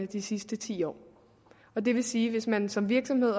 de sidste ti år det vil sige at hvis man som virksomhed